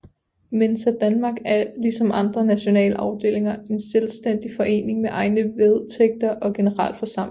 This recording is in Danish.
Mensa Danmark er lige som andre nationale afdelinger en selvstændig forening med egne vedtægter og generalforsamling